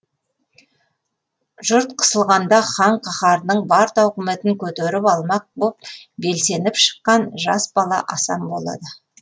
жұрт қысылғанда хан қаһарының бар тауқыметін көтеріп алмақ боп белсеніп шыққан жас бала асан болады